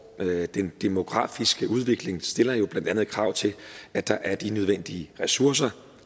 den demografiske udvikling stiller jo blandt andet krav til at der er de nødvendige ressourcer